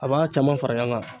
A b'a caman fara ɲɔgɔn kan.